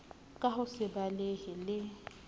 ka ho se balehe le